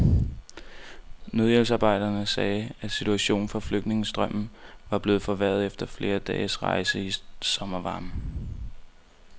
Nødhjælpsarbejdere sagde, at situationen for flygtningestrømmen var blevet forværret efter flere dages rejse i sommervarmen.